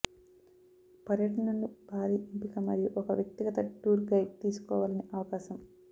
పర్యటనలు భారీ ఎంపిక మరియు ఒక వ్యక్తిగత టూర్ గైడ్ తీసుకోవాలని అవకాశం